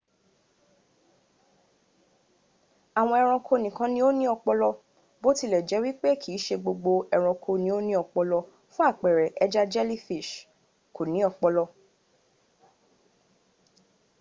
awon eranko nikan ni o ni opolo bo tile je wipe kiise gbogbo eranko ni o ni opolo; fun apere eja jelly ko ni opolo